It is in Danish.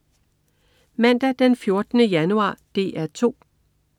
Mandag den 14. januar - DR 2: